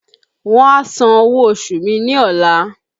Wọn a san owó oṣù ní ọla